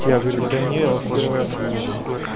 я говорю да не я вас в первый раз вижу